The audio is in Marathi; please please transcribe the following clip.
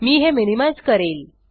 मी हे मिनिमाइज़ करेल